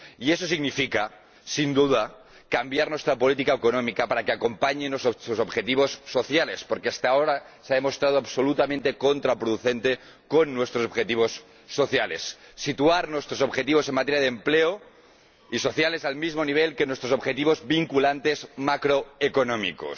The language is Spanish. Y eso significa, sin duda, cambiar nuestra política económica para que acompañe a nuestros objetivos sociales, porque hasta ahora ha demostrado ser absolutamente contraproducente con respecto a nuestros objetivos sociales. Significa situar nuestros objetivos en materia de empleo y sociales al mismo nivel que nuestros objetivos vinculantes macroeconómicos.